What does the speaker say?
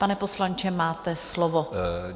Pane poslanče, máte slovo.